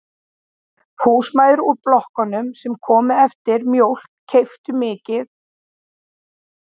Húsmæður úr blokkunum sem komu eftir mjólk keyptu nokkur blöð af